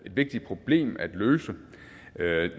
vigtigt problem at løse